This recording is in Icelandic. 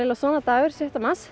svona dagur sjötta mars